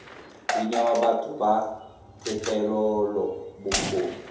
di newa batho ba thetelelobokgoni